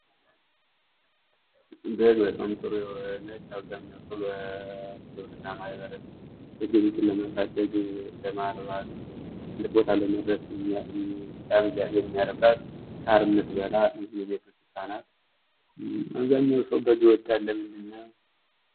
በግ በጣም ጥሩ የሆነች አብዛኛው ሰው እና በግብርና ማህበረሰብ ግብይትን ለማሳደግ ለማርባት ትልቅ ቦታ ለመድረስ የሚያረባት ሳር የምትበላ የቤት እንስሳት ናት። አብዛኘው ሰው በግ ይወዳል ለምንድነው።